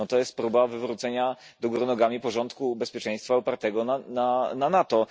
To jest próba wywrócenia do góry nogami porządku bezpieczeństwa opartego na NATO.